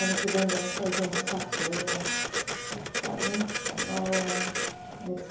Ano que vem vamos fazer uma sarsuela sabe né espanhola,